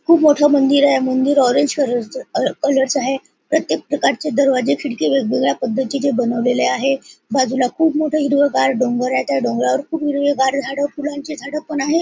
खुप मोठ मंदिर आहे मंदिर ऑरेंज कलरच कलर च आहे प्रत्येक प्रकारचे दरवाजा खिडकी वेगवेगळ्या पद्धतीने बनवलेले आहे बाजूला खुप मोठ हिरवगार डोंगर आहे त्या डोंगरावर हिरवेगार झाड फुलांची झाड पण आहे.